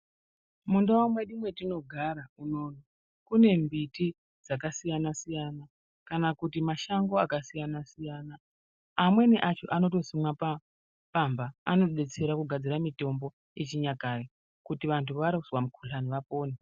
Mundau mwedu mwatinogara munomu kune mbiti dzakasiyana siyana kana kuti mashango akasiyana siyana. Amweni acho anotosimwa pamba anodetsera kugadzira mitombo yechinyakare kuti vanhu vazwa mukhuhlani vapone.